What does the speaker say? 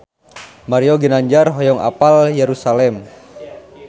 Mario Ginanjar hoyong apal Yerusalam